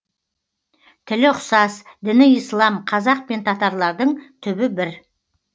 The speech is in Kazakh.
тілі ұқсас діні ислам қазақ пен татарлардың түбі бір